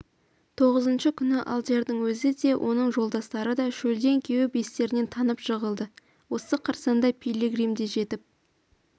тоғызыншы күні алдиярның өзі де оның жолдастары да шөлден кеуіп естерінен танып жығылады осы қарсаңда пилигрим де жетіп